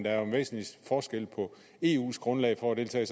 er jo en væsentlig forskel på eus grundlag for at deltage